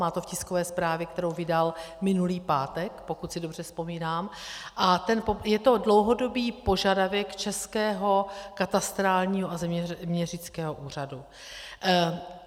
Má to v tiskové zprávě, kterou vydal minulý pátek, pokud si dobře vzpomínám, a je to dlouhodobý požadavek Českého katastrálního a zeměměřického úřadu.